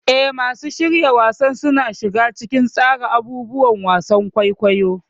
Eh, masu shirya wasan suna shiga cikin tsara abubuwan wasan kwaikwayo.